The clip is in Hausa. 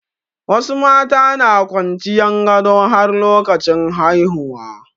Wasu mata na kwanciyan gado har lokacin haihuwa.